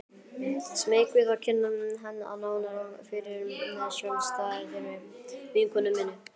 Smeyk við að kynna hann nánar fyrir sjálfstæðri vinkonu minni.